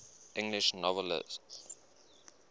english novelists